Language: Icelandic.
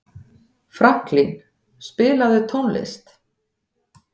Franklín, spilaðu tónlist.